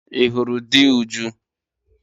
Ị hụrụ di Uju?